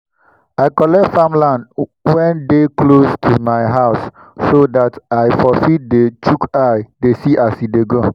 i collect farmland wen dey close to mi house so dat i for fit dey chook eye dey see as e dey go